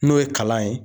N'o ye kalan ye